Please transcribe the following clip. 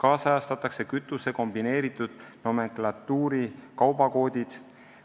Ajakohastatakse kütuse kombineeritud nomenklatuuri kaubakoodid.